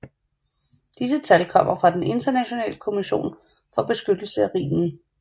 Disse tal kommer fra den Internationale Kommission for beskyttelse af Rhinen